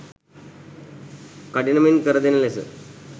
කඩිනමින් කරදෙන ලෙස